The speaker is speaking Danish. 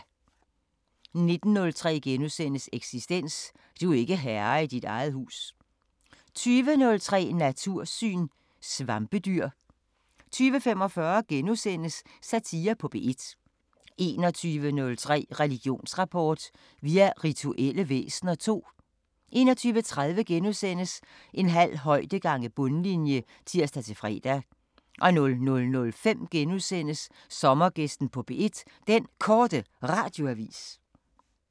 19:03: Eksistens: Du er ikke herre i eget hus * 20:03: Natursyn: Svampedyr 20:45: Satire på P1 * 21:03: Religionsrapport: Vi er rituelle væsener II 21:30: En halv højde gange bundlinje *(tir-fre) 00:05: Sommergæsten på P1: Den Korte Radioavis *